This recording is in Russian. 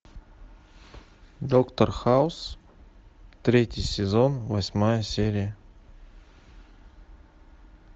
доктор хаус третий сезон восьмая серия